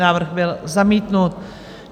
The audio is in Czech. Návrh byl zamítnut.